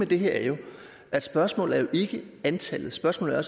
det her er jo at spørgsmålet ikke er antallet spørgsmålet er